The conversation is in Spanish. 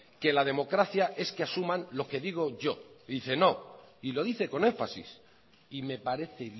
que la democracia es que asuman lo que digo yo y dice no y lo dice con énfasis y me parece